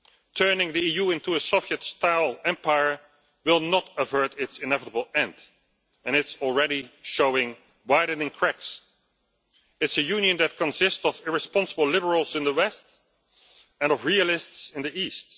Turning the EU into a Soviet style empire will not avert its inevitable end, and it's already showing widening cracks. It's a union that consists of irresponsible liberals in the west and of realists in the east